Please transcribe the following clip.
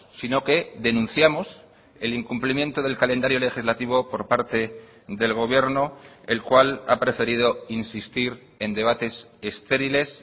sino que denunciamos el incumplimiento del calendario legislativo por parte del gobierno el cual ha preferido insistir en debates estériles